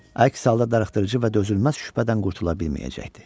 Əks halda darıxdırıcı və dözülməz şübhədən qurtula bilməyəcəkdi.